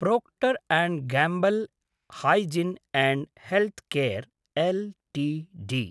Procter Gamble hygiene and health care LTD